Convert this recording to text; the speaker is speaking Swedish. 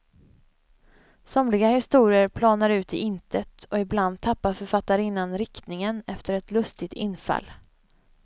Somliga historier planar ut i intet, och ibland tappar författarinnan riktningen efter ett lustigt infall.